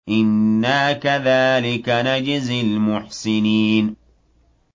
إِنَّا كَذَٰلِكَ نَجْزِي الْمُحْسِنِينَ